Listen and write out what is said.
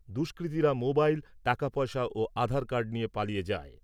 দুষ্কৃতিরা mobile, টাকা পয়সা ও আধার কার্ড নিয়ে পালিয়ে যায়।